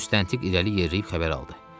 Müstəntiq irəli yeriyib xəbər aldı.